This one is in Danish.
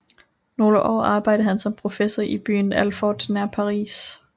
Nogle år arbejdede han som professor i byen Alfort nær Paris